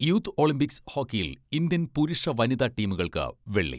Youth Olympics ഹോക്കിയിൽ Indian പുരുഷ, വനിതാ ടീമുകൾക്ക് വെള്ളി.